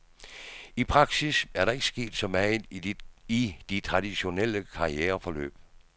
I praksis er der ikke sket så meget i de traditionelle karriereforløb.